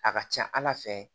A ka ca ala fɛ